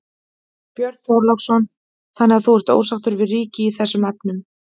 Björn Þorláksson: Þannig að þú ert ósáttur við ríkið í þessum efnum?